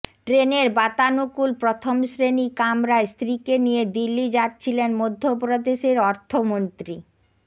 ট্রেনের বাতানুকূল প্রথম শ্রেণি কামরায় স্ত্রীকে নিয়ে দিল্লি যাচ্ছিলেন মধ্যপ্রদেশের অর্থমন্ত্রী